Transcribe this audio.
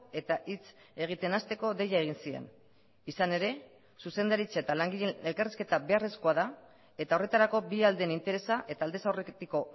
eta hitz egiten hasteko deia egin zien izan ere zuzendaritza eta langileen elkarrizketa beharrezkoa da eta horretarako bi aldeen interesa eta aldez aurretiko